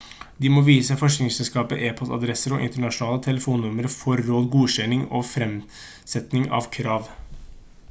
de må vise forsikringsselskapet e-postadresse og internasjonale telefonnummer for råd/godkjenning og fremsetning av krav